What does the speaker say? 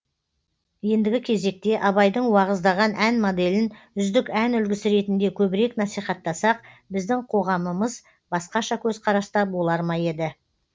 ендігі кезекте абайдың уағыздаған ән моделін үздік ән үлгісі ретінде көбірек насихаттасақ біздің қоғамымыз басқаша көзқараста болар ма еді